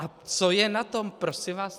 A co je na tom, prosím vás?